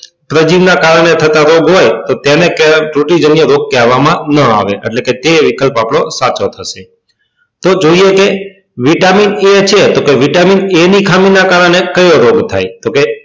પ્રજીવ ના કારણે થતા રોગ હોય તો તેને કહે રોગ કહેવા માં ના આવે એટલે કે તે વિકલ્પ આપડો સાચો હશે તો જોઈએ કે vitamin a છે તો vitamin a ની ખામી ના કારણે કયો રોગ થાય તો કે